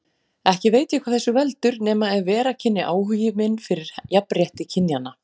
Ekki veit ég hvað þessu veldur, nema ef vera kynni áhugi minn fyrir jafnrétti kynjanna.